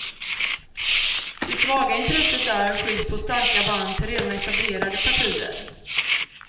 Det svaga intresset där skylls på starka band till redan etablerade partier.